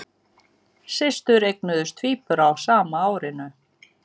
Systur eignuðust tvíbura á sama árinu